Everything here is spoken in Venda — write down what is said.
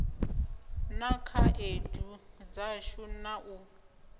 na khaedu dzashu na u